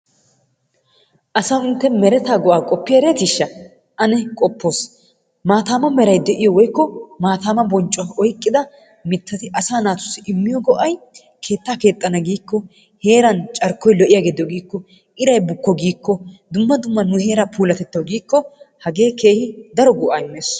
Asawu intte meretaa go'aa qoppi erettisha ane qoppoos maataama meray de'iyo woykko maattaama bonccuwa oyqqada mittati asaa naatussi immiyo go'ay keettaa keexxana giikko, heeran carkkoy lo'iyage de'o giikko, iray bukko giikko, dumma dumma nu heera puulatettawu giikko hagee keehi daro go'aa immees.